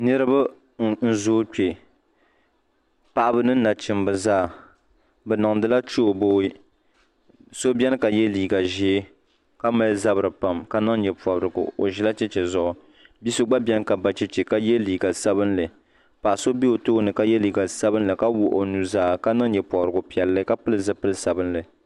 Niriba n zoo kpe paɣaba ni nachimba zaa bɛ niŋdila chooboi so biɛni ka ye liiga ʒee ka mali zabri pam ka niŋ nyɛpobrigu o ʒila cheche zuɣu bia so gba biɛni ka ba cheche ka ye liiga sabinli paɣa so be o tooni ka ye liiga sabinli ka wuɣi o nuzaa ka niŋ nyɛpobrigu piɛlli ka pili zipil'sabinli.